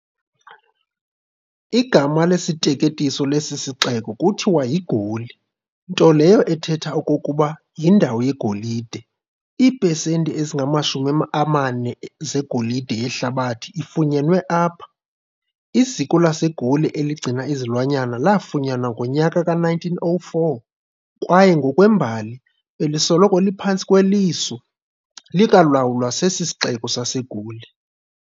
Igama lesiteketiso lesi sixeko kuthiwa yi-Goli, nto leyo ethetha okokuba "yindawo yegolide". iiphesenti ezingamashumi amane zegolide yehlabathi ifunyenwe apha. Iziko lasegoli eligcina izilwanyana laafunyanwa ngonyaka ka1904, kwaye ngokwembali, belisoloko liphantsi kweliso likwalawulwa sesixeko saseGoli.